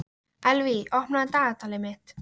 Elvý, opnaðu dagatalið mitt.